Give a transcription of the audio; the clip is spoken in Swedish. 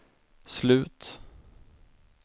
slut